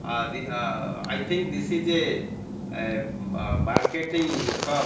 ah the ah i think this is a a marketing shop.